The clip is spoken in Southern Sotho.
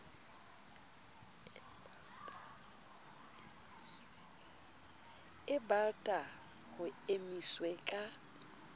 e balta ho emiswe ka